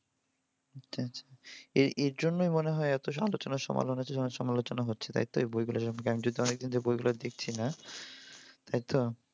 আচ্ছা আচ্ছা। এর এরজন্যই মনে হয় এত আলোচনা সমালোচনা হচ্ছে। তাই তো এই বইগুলো যেমন জ্ঞান দিত এখন সেই বইগুলা দেখছিনা তাই তো?